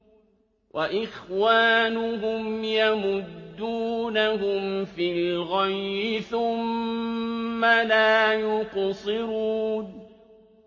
وَإِخْوَانُهُمْ يَمُدُّونَهُمْ فِي الْغَيِّ ثُمَّ لَا يُقْصِرُونَ